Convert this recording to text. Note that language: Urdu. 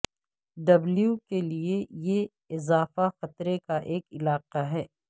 ڈبلیو کے لئے یہ اضافہ خطرے کا ایک علاقہ ہے